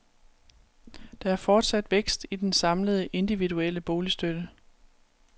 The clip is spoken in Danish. Der er fortsat vækst i den samlede, individuelle boligstøtte.